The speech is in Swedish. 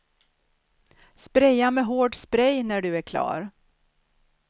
Spraya med hård spray när du är klar.